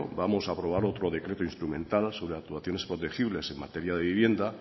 vamos a aprobar otro decreto instrumental sobre actuaciones protegibles en materia de vivienda